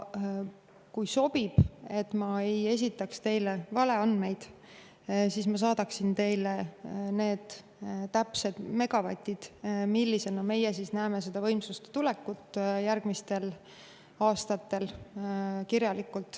Kui sobib – et ma ei esitaks teile valeandmeid –, siis ma saadaksin teile kirjalikult need täpsed megavatid, millisena meie näeme seda võimsust järgmistel aastatel.